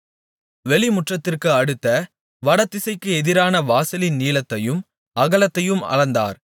வெளிமுற்றத்திற்கு அடுத்த வடதிசைக்கு எதிரான வாசலின் நீளத்தையும் அகலத்தையும் அளந்தார்